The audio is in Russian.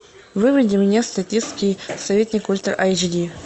выведи мне статский советник ультра эйч ди